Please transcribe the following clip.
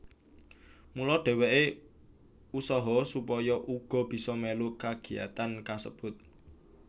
Mula dheweke usaha supaya uga bisa melu kagiyatan kasebut